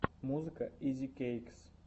музыка изикэйкс